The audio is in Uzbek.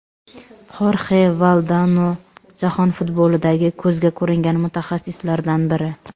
Xorxe Valdano jahon futbolidagi ko‘zga ko‘ringan mutaxassislardan biri.